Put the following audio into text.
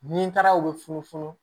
Ni taara u bɛ funu funu